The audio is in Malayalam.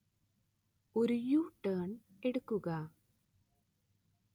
ഒരു യു-ടേണ്‍ എടുക്കുക